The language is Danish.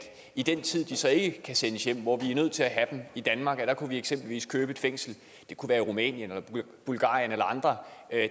i den tid de så ikke kan sendes hjem hvor vi nødt til at have dem i danmark kunne vi eksempelvis købe et fængsel det kunne være i rumænien eller bulgarien eller andre